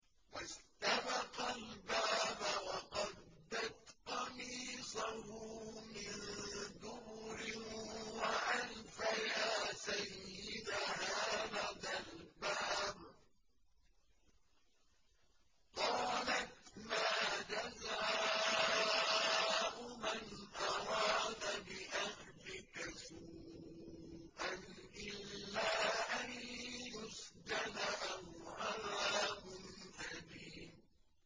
وَاسْتَبَقَا الْبَابَ وَقَدَّتْ قَمِيصَهُ مِن دُبُرٍ وَأَلْفَيَا سَيِّدَهَا لَدَى الْبَابِ ۚ قَالَتْ مَا جَزَاءُ مَنْ أَرَادَ بِأَهْلِكَ سُوءًا إِلَّا أَن يُسْجَنَ أَوْ عَذَابٌ أَلِيمٌ